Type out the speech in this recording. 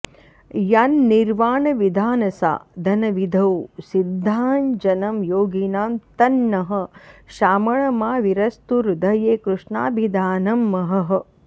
यन्निर्वाणविधानसाधनविधौ सिद्धाञ्जनं योगिनां तन्नः श्यामळमाविरस्तु हृदये कृष्णाभिधानं महः